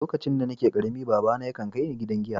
Lokacin da n'na karemi, baba na ya kan kai ni gidan giya.